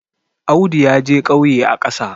Audu ya je ƙauye a ƙasa